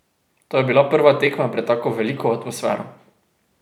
To je bila prva tekma pred tako veliko atmosfero.